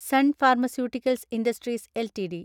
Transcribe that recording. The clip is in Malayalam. സൻ ഫാർമസ്യൂട്ടിക്കൽസ് ഇൻഡസ്ട്രീസ് എൽടിഡി